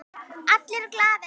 Allir glaðir.